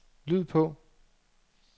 lyd på